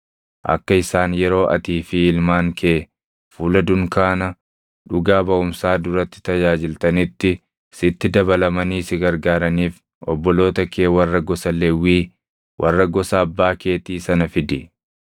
Akka isaan yeroo atii fi ilmaan kee fuula dunkaana dhuga baʼumsaa duratti tajaajiltanitti sitti dabalamanii si gargaaraniif obboloota kee warra gosa Lewwii, warra gosa abbaa keetii sana fidi.